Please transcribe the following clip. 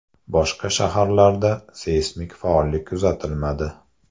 Boshqa shaharlarda seysmik faollik kuzatilmadi.